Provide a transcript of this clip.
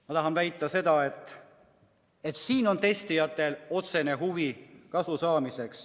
Ma tahan väita seda, et testijatel on otsene huvi kasu saada.